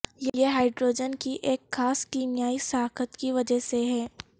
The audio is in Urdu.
یہ ہائیڈروجن کی ایک خاص کیمیائی ساخت کی وجہ سے ہے